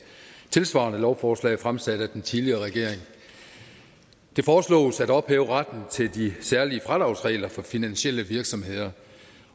tilsvarende lovforslag fremsat af den tidligere regering det foreslås at ophæve retten til de særlige fradragsregler for finansielle virksomheder